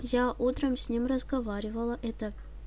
я утром с ним разговаривала это